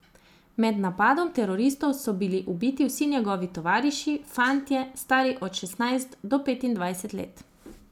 Med napadom teroristov so bili ubiti vsi njegovi tovariši, fantje, stari od šestnajst do petindvajset let.